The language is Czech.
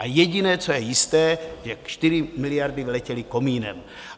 A jediné, co je jisté, jak 4 miliardy vyletěly komínem.